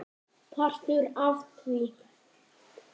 Partur af því?